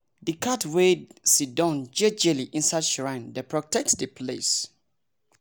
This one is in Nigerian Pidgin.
the cat way sidown jejeli inside shrine dey protect the place